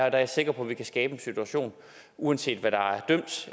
er jeg sikker på vi kan skabe en situation uanset hvad der